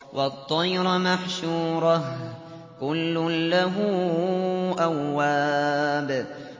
وَالطَّيْرَ مَحْشُورَةً ۖ كُلٌّ لَّهُ أَوَّابٌ